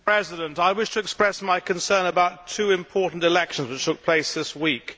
Mr President, I wish to express my concern about two important elections which took place this week.